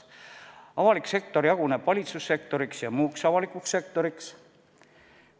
Avalik sektor jaguneb valitsussektoriks ja muuks avalikuks sektoriks.